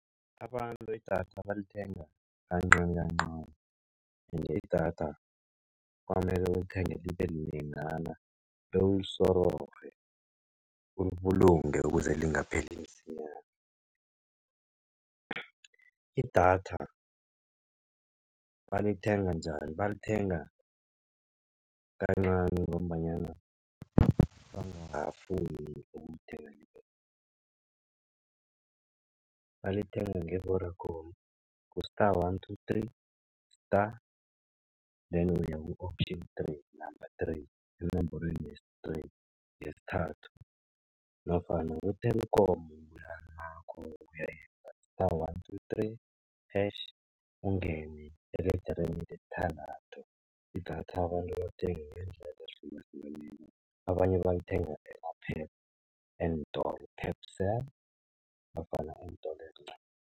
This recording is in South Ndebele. Abantu idatha balithenga kancanikancani ende idatha kwamele ulithenge libe linengana bewulisororhe, ulibulunge ukuze lingapheli msinyana. Idatha balithenga njani? Balithenga kancani ngombanyana bangafuni ukulithenga balithenga nge-Vodacom ku-star one two three, star then uyaku-option three, number three enomborweni yesi-three yesithathu nofana ku-Telkom kuya star one two three hash ungene eledereni lesithandathu. Idatha abantu balithenga ngendlela ehlukahlukeneko. Abanye balithengela ema-Pep eentolo, Pep Cell ofana entolo ezincani.